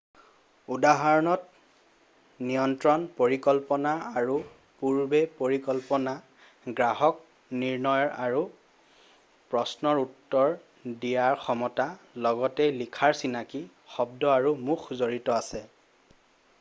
"উদাহৰণত নিয়ন্ত্ৰণ পৰিকল্পনা আৰু পূৰ্বপৰিকল্পনা গ্ৰাহক নিৰ্ণয়ৰ আৰু প্ৰশ্নৰ উত্তৰ দিয়াৰ ক্ষমতা লগতে লিখাৰ চিনাকি শব্দ আৰু মুখ জড়িত আছে ।""